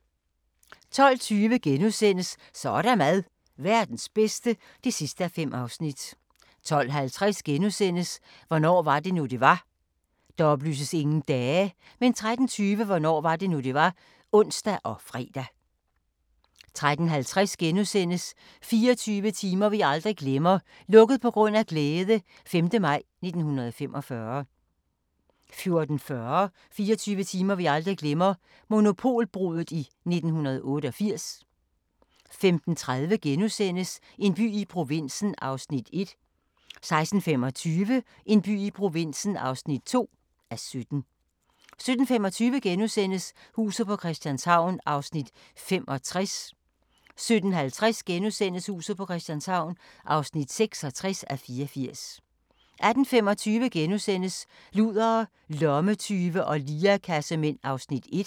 12:20: Så er der mad – Verdens bedste (5:5)* 12:50: Hvornår var det nu, det var? * 13:20: Hvornår var det nu, det var? (ons og fre) 13:50: 24 timer vi aldrig glemmer - "Lukket på grund af glæde" - 5. maj 1945 * 14:40: 24 timer vi aldrig glemmer – Monopolbruddet i 1988 15:30: En by i provinsen (1:17)* 16:25: En by i provinsen (2:17) 17:25: Huset på Christianshavn (65:84)* 17:50: Huset på Christianshavn (66:84)* 18:25: Ludere, lommetyve og lirekassemænd (1:6)*